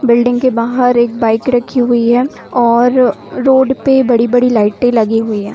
Building के बाहर एक बाइक रखी हुई और रोड पे बड़ी-बड़ी लाइटे लगी हुई है।